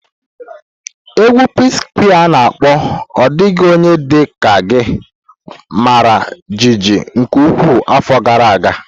Égwù PSquare's ana akpo 'Ọ Dịghị Onye Dị Ka Gị' mara jijiji nke ukwuu afọ gara aga.